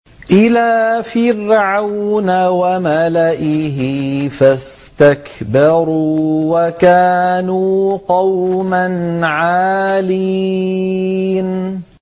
إِلَىٰ فِرْعَوْنَ وَمَلَئِهِ فَاسْتَكْبَرُوا وَكَانُوا قَوْمًا عَالِينَ